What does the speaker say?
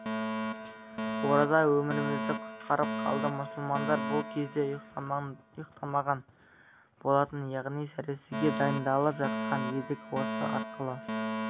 ораза өмірімізді құтқарып қалды мұсылмандар бұл кезде ұйықтамаған болатын яғни сәресіге дайындалып жатқан едік осы арқылы